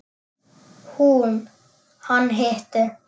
Hún: Hann hitti.